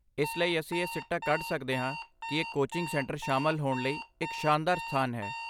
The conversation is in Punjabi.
ਇਸ ਲਈ, ਅਸੀਂ ਇਹ ਸਿੱਟਾ ਕੱਢ ਸਕਦੇ ਹਾਂ ਕਿ ਇਹ ਕੋਚਿੰਗ ਸੈਂਟਰ ਸ਼ਾਮਲ ਹੋਣ ਲਈ ਇੱਕ ਸ਼ਾਨਦਾਰ ਸਥਾਨ ਹੈ।